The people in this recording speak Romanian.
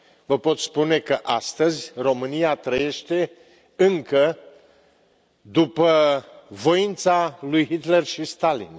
Vă pot spune că astăzi România trăiește încă după voința lui Hitler și Stalin.